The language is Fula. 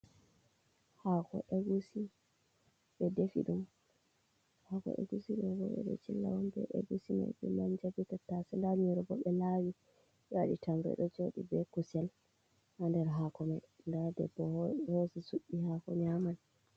Ɓe defi dumha ko egusido boe do chillawon be egusi maibe man jabittase da nurobo be lawi yoi tmedo jodi be kusel ha nder hako mai da debbo hose suddi hako nyaman .